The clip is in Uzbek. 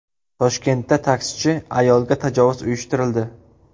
Toshkentda taksichi ayolga tajovuz uyushtirildi.